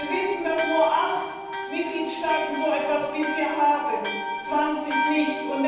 Wir wissen, dass nur 8 Mitgliedstaaten so etwas bisher haben, 20 nicht.